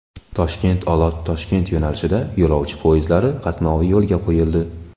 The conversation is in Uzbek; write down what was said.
Toshkent–Olot–Toshkent yo‘nalishida yo‘lovchi poyezdlari qatnovi yo‘lga qo‘yildi.